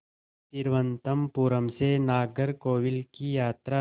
तिरुवनंतपुरम से नागरकोविल की यात्रा